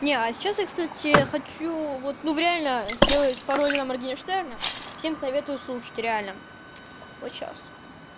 не а сейчас я кстати я хочу вот ну реально сделать пароль на моргенштерна всем советую слушать реально вот сейчас